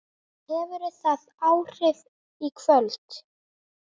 Hefur það áhrif í kvöld?